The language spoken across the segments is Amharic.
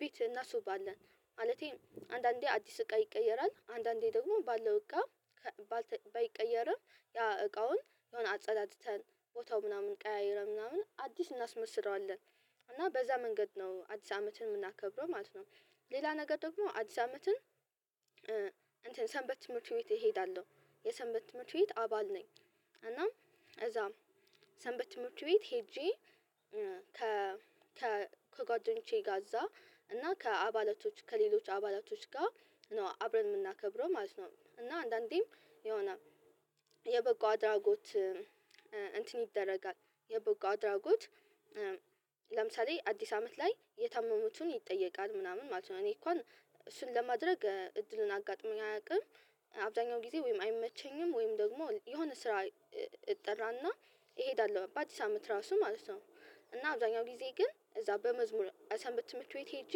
ቤት እናሱባለን ማለቴ አንዳንዴ አዲስ እቃ ይቀየራል አንዳንዴ ደግሞ ባለው እቃ ባይቀየርም ያ እቃውን የሆነ አጸዳድተን ቦታው ምናምን ቀያይረን ምናምን አዲስ እናስመስለዋለን እና በዛ መንገድ ነው አዲስ አመትን የምናከብረው ማለት ነው። ሌላ ነገር ደግሞ አዲስ አመትን እንትን ሰንበት ትምህርት ቤት እሄዳለሁ የሰንበት ትምህርት ቤት አባል ነኝ። እና እዛም ሰንበት ትምህርት ቤት ሄጄ ከ ከጓደኞቼ ጋዛ እና ከአባላቶች ከሌሎች አባላቶች ጋር ነው አብረን የምናከብረው ማለት ነው። እና አንዳንዴም የሆነ የበጎ አድራጎት እንትን ይደረጋል የበጎ አድራጎት ለምሳሌ አዲስ አመት ላይ የታመሙትን ይጠየቃል ምናምን ማለት ነው። እኔ እንኳን እሱን ለማድረግ እድልን አጋጥመኝ አያውቅም አብዛኛው ጊዜ ወይም አይመቸኝም ወይም ደግሞ የሆነ ስራ እጠራና እሄዳለሁ በአዲስ አመት ራሱ ማለት ነው። እና አብዛኛው ጊዜ ግን እዛ በመዝሙር ሰንበት ትምህርት ቤት ሄጄ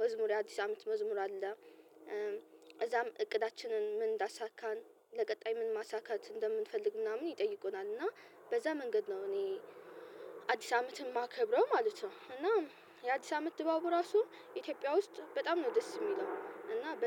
መዝሙር የአዲስ አመት መዝሙር አለ። እዛም እቅዳችንን ምን እንዳሳካን ለቀጣይ ምን ማሳካት እንደምንፈልግ ምናምን ይጠይቁናል እና በዛ መንገድ ነው እኔ አዲስ አመት የማከብረው ማለት ነው። እና የአዲስ አመት ድባቡ ራሱ ኢትዮጵያ ውስጥ በጣም ነው ደስ የሚለው እና በ